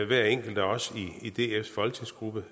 hver enkelt af os i dfs folketingsgruppe